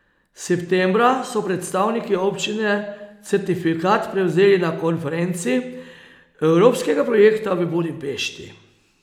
Septembra so predstavniki občine certifikat prevzeli na konferenci evropskega projekta v Budimpešti.